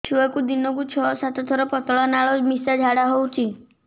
ଛୁଆକୁ ଦିନକୁ ଛଅ ସାତ ଥର ପତଳା ନାଳ ମିଶା ଝାଡ଼ା ହଉଚି